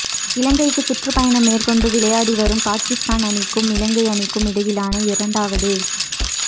இலங்கைக்கு சுற்றுப்பயணம் மேற்கொண்டு விளையாடி வரும் பாகிஸ்தான் அணிக்கும் இலங்கையணிக்கும் இடையிலான இரண்டாவது